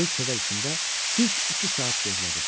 Böyük kədər içində düz iki saat gözlədim.